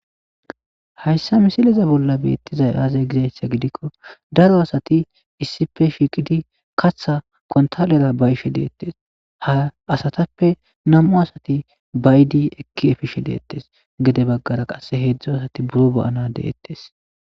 hayssa misileza bolla beettizay aazae gizayssa gidikko daro asati issife shiiqidi katha kontalera bayishe deettes ha asatappe nam7u asati baydi ekki efishe deettes gede baggara qasse heedzdzo asati buro ba7ana deettes